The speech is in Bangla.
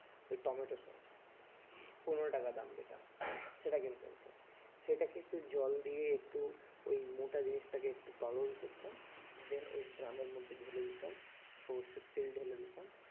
ওই টমেটো sauce পনেরো টাকা দাম যেটা সেটা কিনতে হতো সেটাকে একটু জল দিয়ে একটু ওই মোটা জিনিসটাকে একটু তরল করতাম then ওই ড্রামের মধ্যে ঢেলে দিতাম সর্ষের তেল ঢেলে দিতাম